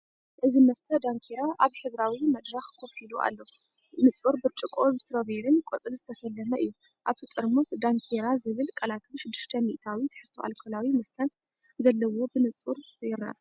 እዚ መስተ ዳንኪራ ኣብ ሕብራዊ መድረኽ ኮፍ ኢሉ ኣሎ፤ ንጹር ብርጭቆኡ ብስትሮቤሪን ቆጽልን ዝተሰለመ እዩ። ኣብቲ ጥርሙዝ “ዳንኪራ” ዝብል ቃላትን 6% ትሕዝቶ ኣልኮላዊ መስተ ዘለዎን ብንጹር ይርአ።